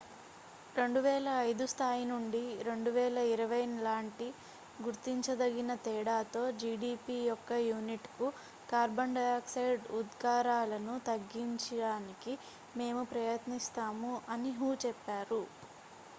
"""2005 స్థాయి నుండి 2020 లాంటి గుర్తించదగిన తేడాతో జిడిపి యొక్క యూనిట్​కు కార్బన్ డయాక్సైడ్ ఉద్గారాలను తగ్గించడానికి మేము ప్రయత్నిస్తాము" అని హు చెప్పారు.